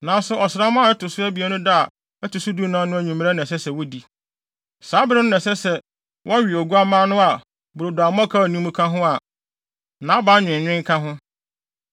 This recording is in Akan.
nanso ɔsram a ɛto so abien no da a ɛto so dunan no anwummere na ɛsɛ sɛ wodi. Saa bere no na ɛsɛ sɛ wɔwe oguamma no a brodo a mmɔkaw nni mu ka ho a naban nweenwen ka ho.